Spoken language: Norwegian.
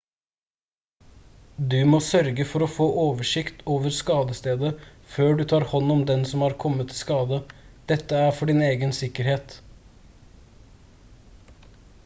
du må sørge for å få oversikt over skadestedet før du tar hånd om den som har kommet til skade dette er for din egen sikkerhet